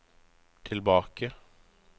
tilbake